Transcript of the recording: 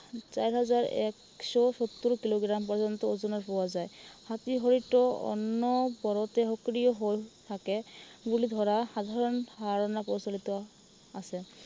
চাৰি হাজাৰ একশ সত্তৰ কিলোগ্ৰাম পৰ্যন্ত অনুমান পোৱা যায়। হাতী হয়তো অনৱৰতে সক্ৰিয় হৈ থাকে বুলি ধৰা সাধাৰণ ধাৰণা প্ৰচলিত আছে।